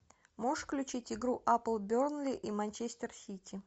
можешь включить игру апл бернли и манчестер сити